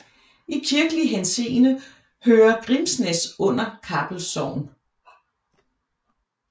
I kirkelig henseende hører Grimsnæs under Kappel Sogn